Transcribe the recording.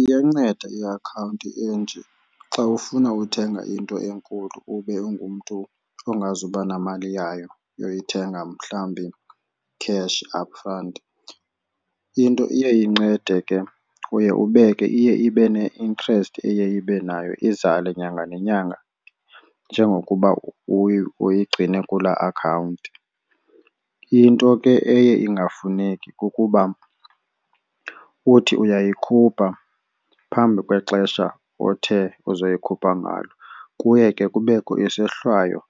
Iyanceda iakhawunti enje xa ufuna uthenga into enkulu ube ungumntu ongazuba namali yayo yokuyithenga mhlawumbi cash up front. Into iye incede ke uye ubeke iye ibe ne-interest eye ibe nayo izale nyanga nenyanga njengokuba uyigcine kulaa akhawunti. Into ke eye ingafuneki kukuba uthi uyayikhupha phambi kwexesha othe uzoyikhupha ngalo. Kuye ke kubekho isohlwayo